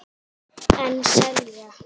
En selja.